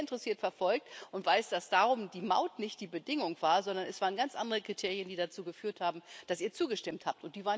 Ich habe das sehr interessiert verfolgt und weiß, dass darum die Maut nicht die Bedingung war, sondern es waren ganz andere Kriterien, die dazu geführt haben, dass ihr zugestimmt habt